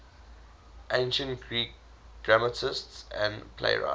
ancient greek dramatists and playwrights